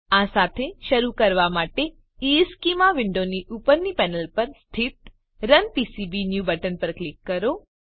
આ સાથે શરૂ કરવા માટે ઇશ્ચેમાં વિન્ડોની ઉપરની પેનલ પર સ્થિત રન પીસીબીન્યૂ બટન પર ક્લિક કરો